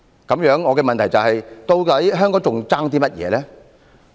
那麼，我的問題是，究竟香港尚欠甚麼？